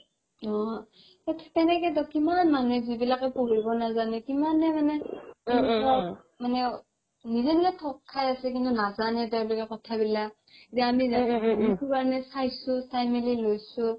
অ তেনেকে তো কিমান মানুহে যিবিলাকে পঢ়িব নাজানে কিমানে মানে নিজে নিজে থগ খাই আছে কিন্তু নাজানে তেওলোকে কথা বিলাক দেখো কাৰণে চাইছো চাই মিলি লৈছো